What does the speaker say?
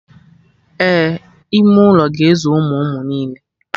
Ee, ime ụlọ ga-ezu ụmụ ụmụ niile